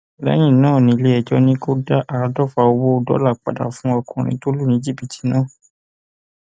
lẹyìn náà nílẹẹjọ ni kò dá àádọfà owó dọlà padà fún ọkùnrin tó lù ní jìbìtì náà